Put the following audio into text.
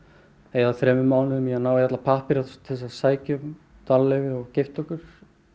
eyða þremur mánuðum í að ná í alla pappíra til þess að sækja um dvalarleyfi og gifta okkur